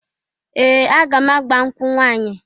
Ee! Aga m agba nkwụ nwanyị.